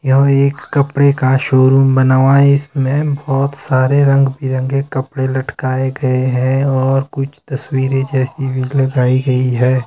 यह एक कपड़े का शोरूम बना हुआ है इसमें बहुत सारे रंग बिरंगे कपड़े लटकाए गए हैं और कुछ तस्वीरें जैसी भी लगाई गई हैं।